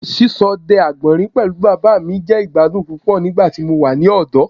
Ṣiṣọdẹ agbọnrin pẹlu baba mi jẹ igbadun pupọ nigbati mo wa ni ọdọ